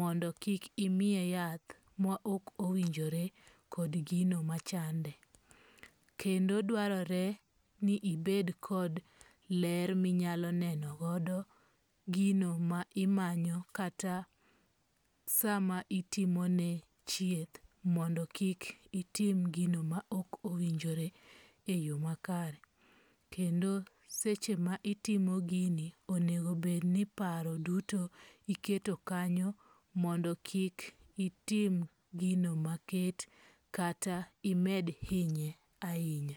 Mondo kik imiye yath ma ok owinjore kod gino machande. Kendo dwarore ni ibed kod ler minyalo nenogodo gino ma imanyo kata sama itimone chieth mondo kik itim gino maok owinjore e yo makare. Kendo seche ma itimo gini onegobedni paro duto iketo kanyo mondo kik itim gino maket kata imed hinye ahinya.